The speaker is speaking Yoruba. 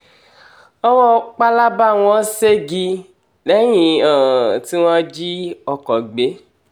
owó um pálábá wọn ṣẹ́gi lẹ́yìn um tí wọ́n jí ọkọ̀ gbé